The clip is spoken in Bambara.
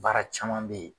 Baara caman bɛ ye